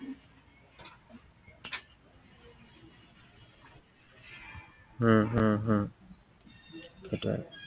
উম হম হম সেইটোৱেই।